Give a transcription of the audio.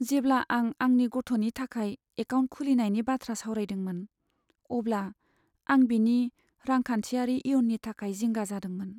जेब्ला आं आंनि गथ'नि थाखाय एकाउन्ट खुलिनायनि बाथ्रा सावरायदोंमोन, अब्ला आं बिनि रांखान्थियारि इयुननि थाखाय जिंगा जादोंमोन।